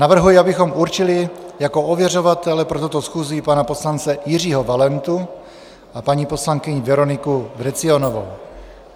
Navrhuji, abychom určili jako ověřovatele pro tuto schůzi pana poslance Jiřího Valentu a paní poslankyni Veroniku Vrecionovou.